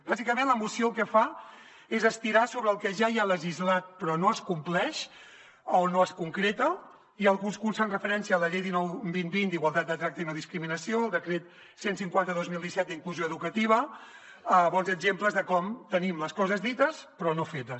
bàsicament la moció el que fa és estirar sobre el que ja hi ha legislat però no es compleix o no es concreta i alguns punts fan referència a la llei dinou dos mil vint d’igualtat de tracte i no discriminació el decret cent i cinquanta dos mil disset d’inclusió educativa bons exemples de com tenim les coses dites però no fetes